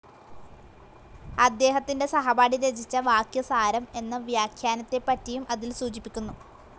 അദ്ദേഹത്തിന്റെ സഹപാഠി രചിച്ച വാക്യസാരം എന്ന വ്യാഖ്യാനത്തെപ്പറ്റിയും അതിൽ സൂചിപ്പിക്കുന്നു.